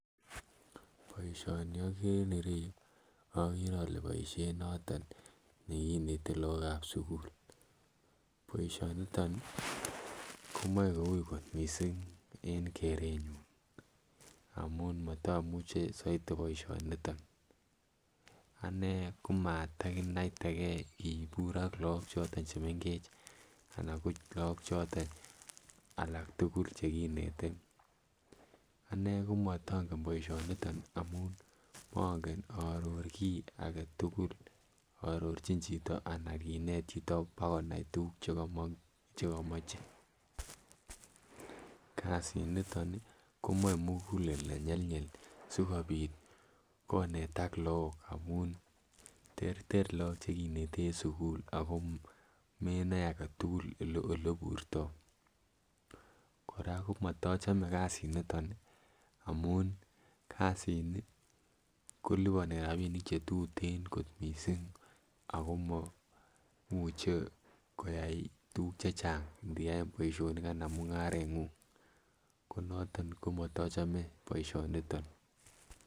Boisioni oken ireyu okere ole boisiet noton nekinete lookab sugul boisioniton komoe koui kot missing en kerenyun amun motomuche soiti boisioniton. Anee komatakinaitegee kibur ak look choton chemengech anan ko look choton alak tugul chekinete. Anee komotongen boisioniton amun mongen aaror kiy agetugul aarorchin chito ana kinet chito bokonai tuguk chekomoche. Kasit niton ih komoe mugulel nenyelnyel sikobit konetak look amun terter look chekinete en sukul ako menoe aketukul ele oleburtoo kora komotochome kasiniton amun kasini koliponi rapinik chetuten kot missing ako momuche koyai tuguk chechang ndiyaen boisionik anan mungarengung. Konoton komotochome boisioniton